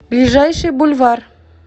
ближайший бульвар